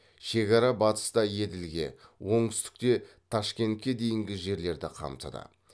шекара батыста еділге оңтүстікте ташкентке дейінгі жерлерді қамтыды